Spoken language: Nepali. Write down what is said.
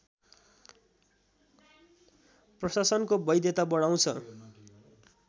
प्रशासनको वैधता बढाउँछ